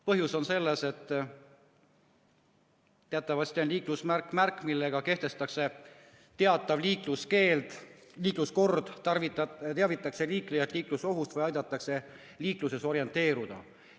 Põhjus on selles, et teatavasti on liiklusmärk märk, millega kehtestatakse teatav liikluskord, teavitatakse liiklejat liiklusohust või aidatakse liikluses orienteeruda.